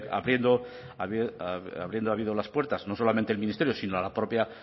habido abriendo las puertas no solamente el ministerio sino la propia